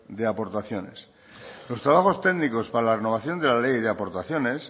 de aportaciones los trabajos técnicos para la renovación de la ley de aportaciones